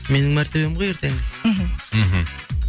менің мәртебием ғой ертеңгі мхм мхм